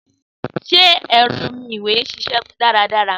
Sé ẹ̀rọ omi ìwè n ṣiṣẹ́ dáradára?